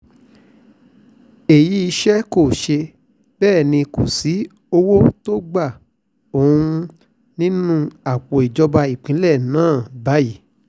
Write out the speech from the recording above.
èyí iṣẹ́ kò ṣe é bẹ́ẹ̀ ni kò sí owó tó gba ohun nínú àpò ìjọba ìpínlẹ̀ náà báyìí